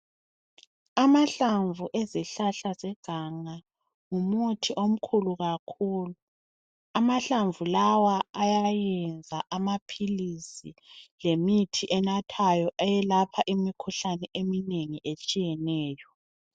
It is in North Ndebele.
Amahlamvu ezihlahla zeganga ngumuthi omkhulu kakhulu. Amahlamvu lawa enza amaphilisi lemithi enathwayo eyelapha imikhuhlane eminengi etshiyeneyo.